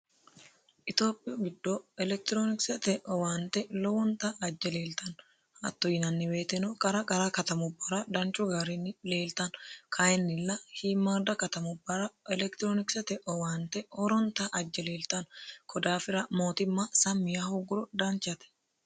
itoophiyu giddo elekitiroonikisete owaante lowonta ajje leeltano hatto yinanni woyiteno qara qara katamubbara danchu gaarinni leeltano kayinnilla shiimmaada katamubbara elekitiroonikisete owaante horonta ajje leeltano konni daafira mootimma sammiya hogguro danchate